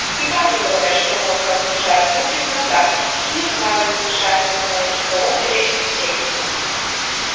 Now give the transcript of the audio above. неправду говорят что водка оглушает глупит она да думать слаженно мешает выстраивать разговор беречь собеседника